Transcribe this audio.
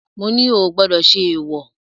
Mo ní o ò gbọdọ̀ ṣe èwọ̀.